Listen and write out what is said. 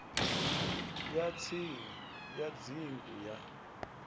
ya tsini ya dzingu ya